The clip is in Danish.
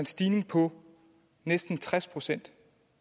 stigning på næsten tres procent